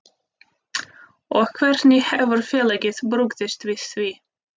Og hvernig hefur félagið brugðist við því?